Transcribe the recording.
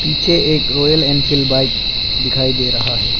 पीछे एक Royal Enfield bike दिखाई दे रहा है।